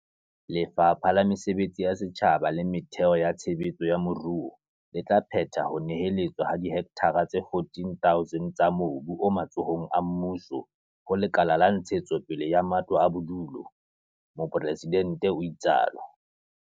Lefapha la Mesebetsi ya Setjhaba le Metheo ya Tshe betso ya Moruo le tla phetha ho neheletswa ha dihektara tse 14 000 tsa mobu o matsohong a mmuso ho Lekala la Ntshetsopele ya Matlo a Bodulo, Mopresidente o itsatso.